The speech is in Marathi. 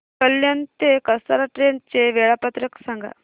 कल्याण ते कसारा ट्रेन चे वेळापत्रक सांगा